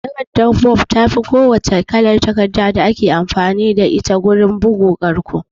Takardar bond tafi ko wacce kalar takarda da ake amfani da ita wurin bugu ƙarƙo